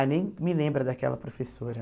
Ah, nem me lembra daquela professora.